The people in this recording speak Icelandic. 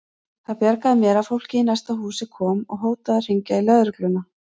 Það bjargaði mér að fólkið í næsta húsi kom og hótaði að hringja í lögregluna.